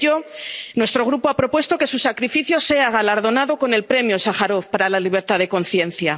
Por ello, nuestro Grupo ha propuesto que su sacrificio sea galardonado con el Premio Sájarov para la libertad de conciencia.